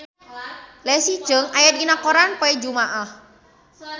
Leslie Cheung aya dina koran poe Jumaah